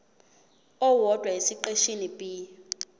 owodwa esiqeshini b